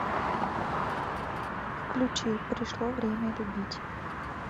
включи пришло время любить